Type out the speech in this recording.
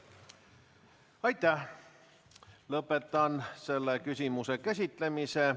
Lõpetan selle küsimuse käsitlemise.